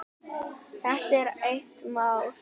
Þetta er eitt mál.